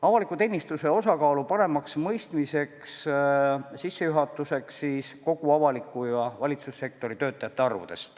Avaliku teenistuse osakaalu paremaks mõistmiseks käsitlen sissejuhatuseks ka valitsussektori töötajate arve.